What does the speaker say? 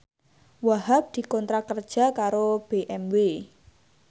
Wahhab dikontrak kerja karo BMW